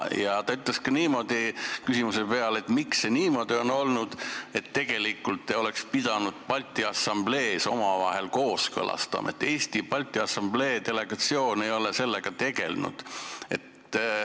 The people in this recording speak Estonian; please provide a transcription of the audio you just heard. Ta ütles küsimuse peale, miks see niimoodi on olnud, et tegelikult oleks pidanud Balti Assamblees selle omavahel kooskõlastama, aga Eesti Balti Assamblee delegatsioon ei ole sellega tegelenud.